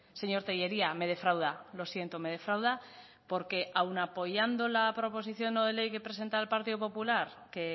señor tellería me defrauda lo siento me defrauda porque aun apoyando la proposición no de ley que presenta el partido popular que